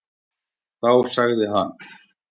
Þá sagði hann: